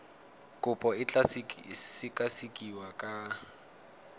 kopo e tla sekasekiwa ka